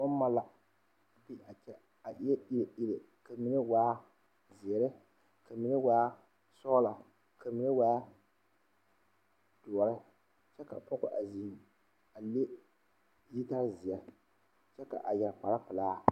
Dɔɔ ane pɔge la a are ka mine zeŋ ba seɛŋ kaa dɔɔ a zeŋ teŋa kaa pɔgɔ a kyaaroo kaa pɔgɔba laara kaa dɔɔ meŋ a laara kaa dɔɔ su bompeɛle kaa pɔge meŋ su bomdɔre